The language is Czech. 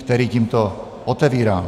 který tímto otevírám.